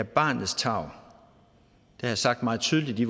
barnets tarv har jeg sagt meget tydeligt i